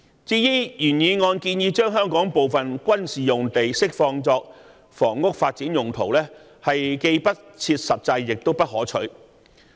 至於原議案建議將香港部分軍事用地釋放作房屋發展用途，既不切實際亦不可取。